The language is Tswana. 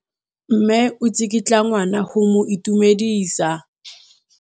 Mme o tsikitla ngwana go mo itumedisa.